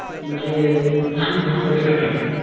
म्हणजे विदेशी गोष्टी